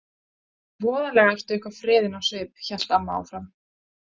Voðalega ertu eitthvað freðin á svip, hélt amma áfram.